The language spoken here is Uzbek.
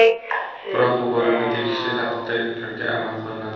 Biroq bu borada tegishli tartiblarga amal qilinadi.